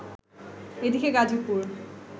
এদিকে গাজীপুর